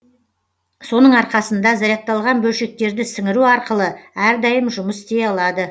соның арқасында зарядталған бөлшектерді сіңіру арқылы әрдайым жұмыс істей алады